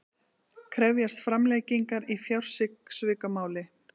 Krefjast framlengingar í fjársvikamáli